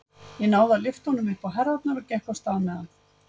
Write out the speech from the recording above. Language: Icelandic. Ég náði að lyfta honum upp á herðarnar og gekk af stað með hann.